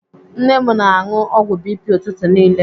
Nne m na-anụ ọgwụ BP ụtụtụ niile.